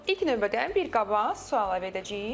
İlk növbədə bir qaba su əlavə edəcəyik.